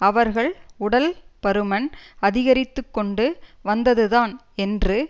அவர்கள் உடல் பருமன் அதிகரித்து கொண்டு வந்தது தான் என்று